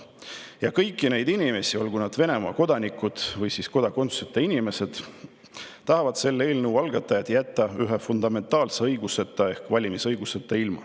Ja kõiki neid inimesi, olgu nad Venemaa kodanikud või kodakondsuseta inimesed, tahavad selle eelnõu algatajad jätta ilma ühest fundamentaalsest õigusest ehk valimisõigusest.